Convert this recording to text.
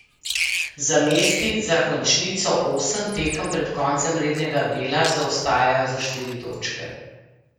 Za mesti za končnico osem tekem pred koncem rednega dela zaostajajo za štiri točke.